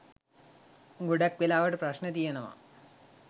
ගොඩක් වෙලාවට ප්‍රශ්න තියෙනවා.